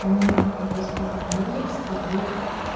у меня в подростковом возрасте был